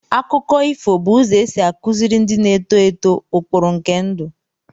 Akụkọ ifo bụ ụzọ ọzọ e si akụziri ndị na-eto eto ụkpụrụ nke ndụ.